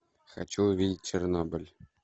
хочу увидеть чернобыль